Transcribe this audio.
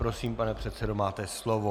Prosím, pane předsedo, máte slovo.